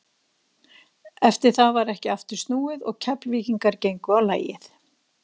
Eftir það var ekki aftur snúið og Keflvíkingar gengu á lagið.